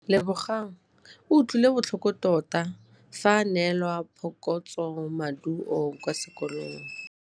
Lebogang o utlwile botlhoko tota fa a neelwa phokotsômaduô kwa sekolong.